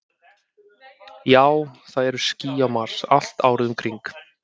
Já, það eru ský á Mars, allt árið um kring.